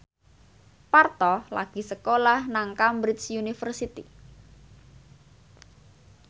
Parto lagi sekolah nang Cambridge University